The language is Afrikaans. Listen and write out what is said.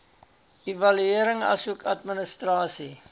evaluering asook administrasie